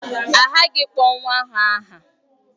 A ghaghị ịkpọ nwa ahụ aha.